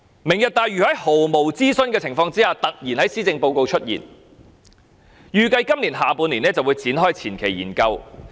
"明日大嶼願景"在毫無諮詢的情況下突然在施政報告出現，預計今年下半年便會展開前期研究工作。